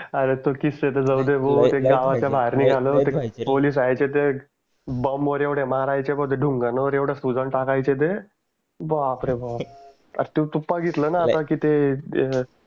अरे तो किस्सा त जाऊदे भाऊ ते गावाच्या बाहेर निघालो त पोलिस यायचे त बंबवर येवडे मारायचे मग ते ढुंगांनावर येवडे सुजऊन टाकायचे ते बापरे बाप की ते